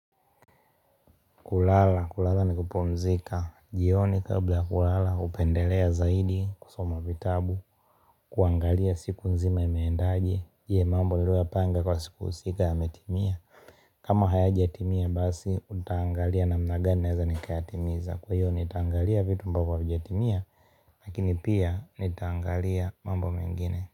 Kulala, kulala ni kupumzika, jioni kabla ya kulala hupendelea zaidi kusoma vitabu, kuangalia siku nzima imeendaje, je mambo niloyapanga kwa siku husika yametimia? Kama hayajatimia basi, utaangalia namna gani naweza nikayatimiza. Kwa hiyo nitaangalia vitu ambavyo havijatimia, lakini pia nitaangalia mambo mengine.